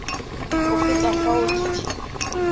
go feta fao ke di